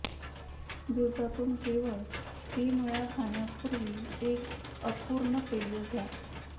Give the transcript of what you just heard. दिवसातून केवळ तीन वेळा खाण्यापूवीर् एक अपूर्ण पेय घ्या